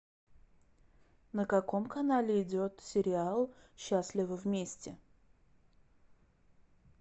на каком канале идет сериал счастливы вместе